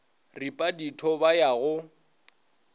ripa ditho ba ya go